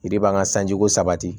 Yiri b'an ka sanjiko sabati